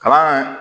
Kalan